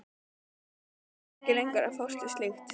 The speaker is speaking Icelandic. Sjálfur nennti hann ekki lengur að fást við slíkt.